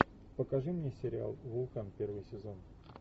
покажи мне сериал вулкан первый сезон